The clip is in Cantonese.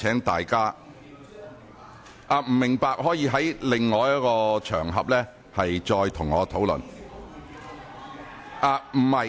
不明白的議員可以在其他場合再與我討論。